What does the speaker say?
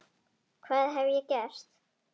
Hvað hef ég gert?.